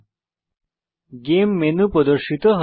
game menu game menu প্রদর্শিত হয়